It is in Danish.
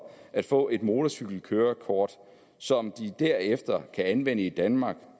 at få et motorcykelkørekort som de derefter kan anvende i danmark